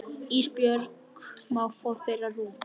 Ísbjörg má fá þeirra rúm.